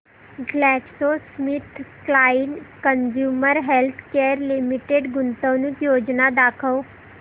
GlaxoSmithKline consumer healthcare limited गुंतवणूक योजना दाखव